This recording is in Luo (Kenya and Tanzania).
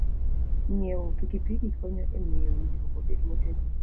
Ng'iewo pikipiki konyo e miyo winjruok obed motegno.